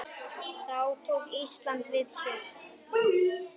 Þá tók Ísland við sér.